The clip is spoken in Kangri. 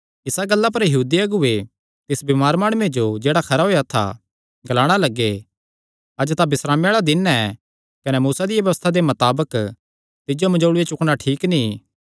इसा गल्ला पर यहूदी अगुऐ तिस बमार माणुये जो जेह्ड़ा खरा होएया था ग्लाणा लग्गे अज्ज तां बिस्रामे आल़ा दिन ऐ कने मूसा दिया व्यबस्था दे मताबक तिज्जो मंजोल़ू चुकणा ठीक नीं ऐ